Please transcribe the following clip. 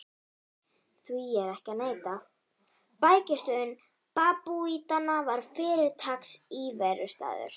Því er ekki að neita: bækistöð babúítanna var fyrirtaks íverustaður.